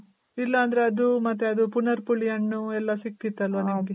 ಇಲ್ಲಂದ್ರೆ ಅದು ಮತ್ತೆ ಅದು ಪುನರ್ ಪುಳಿ ಹಣ್ಣು ಎಲ್ಲ ಸಿಕ್ತಿತಲ್ವ ನಿಮ್ಗೆ?